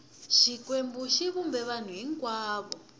xikwembu xi vumbe vanhu hinkwavo